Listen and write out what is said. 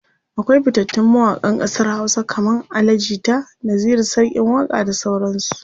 akwai fitattun mawaƙan ƙasar Hausa kaman Ali jita, Naziru sarkin waƙa da sauran su